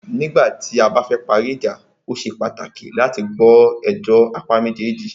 Nígbà tí a bá fẹ parí ìjà,o ṣe pàtàkì láti gbọ́ ẹjọ́ apá méjèèjì.